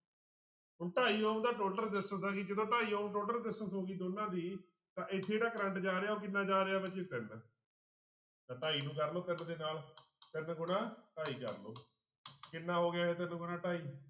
ਢਾਈ ohm ਦਾ total resistance ਆ ਗਈ ਜਦੋਂ ਢਾਈ ohmtotal resistance ਹੋ ਗਈ ਦੋਨਾਂ ਦੀ ਤਾਂ ਇੱਥੇ ਜਿਹੜਾ ਕਰੰਟ ਜਾ ਰਿਹਾ ਉਹ ਕਿੰਨਾ ਜਾ ਰਿਹਾ ਰਾਜੇ ਤਿੰਨ ਤਾਂ ਢਾਈ ਨੂੰ ਕਰ ਲਓ ਤਿੰਨ ਦੇ ਨਾਲ ਤਿੰਨ ਗੁਣਾ ਢਾਈ ਕਰ ਲਓ ਕਿੰਨਾ ਹੋ ਗਿਆ ਇਹ ਤਿੰਨ ਗੁਣਾ ਢਾਈ